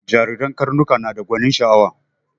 Jariren karnuka nada gwanin sha'awa